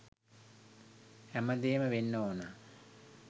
හැමදේම වෙන්න ඕන.